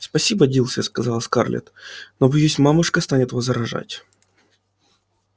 спасибо дилси сказала скарлетт но боюсь мамушка станет возражать